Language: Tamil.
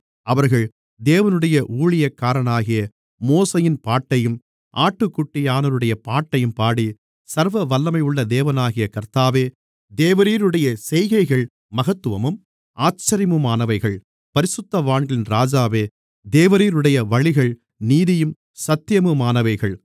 அவர்கள் தேவனுடைய ஊழியக்காரனாகிய மோசேயின் பாட்டையும் ஆட்டுக்குட்டியானவருடைய பாட்டையும் பாடி சர்வவல்லமையுள்ள தேவனாகிய கர்த்தாவே தேவரீருடைய செய்கைகள் மகத்துவமும் ஆச்சரியமுமானவைகள் பரிசுத்தவான்களின் ராஜாவே தேவரீருடைய வழிகள் நீதியும் சத்தியமுமானவைகள்